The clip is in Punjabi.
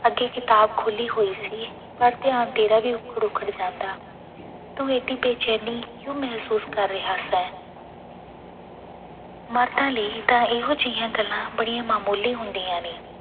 ਅੱਗੇ ਕਿਤਾਬ ਖੋਲੀ ਹੋਈ ਸੀ ਪਰ ਧਿਆਨ ਤੇਰਾ ਵੀ ਉੱਖੜ-ਉੱਖੜ ਜਾਂਦਾ, ਤੁੰ ਇੱਡੀ ਬੇਚੈਂਨੀ ਕਿਉਂ ਮਹਿਸੂਸ ਕਰ ਰਿਹਾ ਸੈਂ ਮਰਦਾਂਂ ਲਈ ਤਾਂ ਇਹੋ ਜਿਹੀਆਂ ਗੱਲਾਂ ਬੜੀਆਂ ਮਾਮੂਲੀ ਹੁੰਦੀਆਂ ਨੇ।